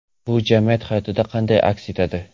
Bu jamiyat hayotida qanday aks etadi?.